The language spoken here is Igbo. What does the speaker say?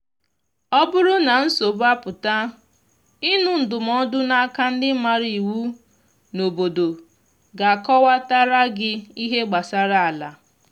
ọ bụrụ na nsogbu apụta ịnụ ndụmọdụ na aka ndi maara iwu n’obodo ga akọwata ra gi ihe gbasara ala